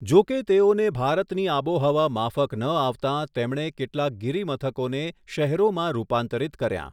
જો કે તેઓને ભારતની આબોહવા માફક ન આવતાં તેમણે કેટલાક ગીરીમથકોને શહેરોમાં રૂપાંતરીત કર્યા.